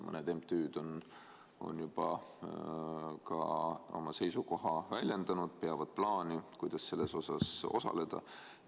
Mõned MTÜ-d on juba oma seisukoha väljendanud ja peavad plaani, kuidas selles osaleda.